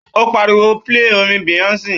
Ó pariwo pílè orin Beyonce!